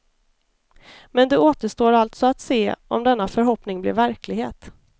Men det återstår alltså att se om denna förhoppning blir verklighet.